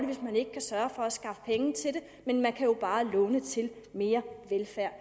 hvis man ikke kan sørge for at skaffe penge til det men man kan jo bare låne til mere velfærd